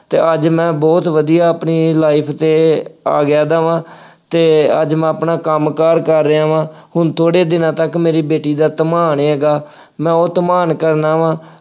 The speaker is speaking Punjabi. ਅਤੇ ਅੱਜ ਮੈਂ ਬਹੁਤ ਵਧੀਆ ਆਪਣੀ life ਤੇ ਆ ਗਿਆ ਦਾ ਵਾਂ ਅਤੇ ਅੱਜ ਮੈਂ ਆਪਣਾ ਕੰਮ ਕਾਰ ਕਰ ਰਿਹਾ ਵਾਂ, ਹੁਣ ਥੋੜ੍ਹੇ ਦਿਨਾਂ ਤੱਕ ਮੇਰੀ ਬੇਟੀ ਦਾ ਧਮਾਨ ਹੈਗਾ, ਮੈਂ ਉਹ ਧਮਾਨ ਕਰਵਾ ਵਾ।